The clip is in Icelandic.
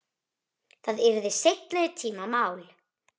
Það yrði seinni tíma mál.